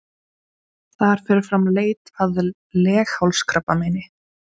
Þar fer fram leit að leghálskrabbameini.